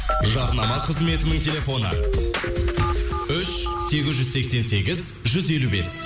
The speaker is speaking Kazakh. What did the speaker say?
жарнама қызметінің телефоны үш сегіз жүз сексен сегіз жүз елу бес